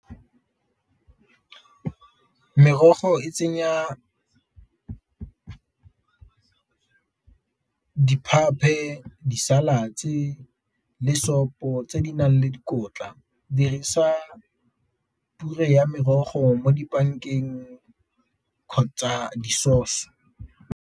Merogo e tsenya di , di-salads le sopo tse di nang le dikotla. Dirisa pure ya merogo mo kgotsa di-sauce.